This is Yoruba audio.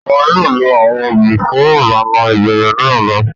Wọn yóò lo awọn obì fun ilana ibẹrẹ ni ọla.